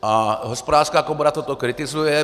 A Hospodářská komora to kritizuje.